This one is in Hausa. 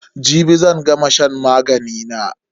Jibi zan gama shan magani na.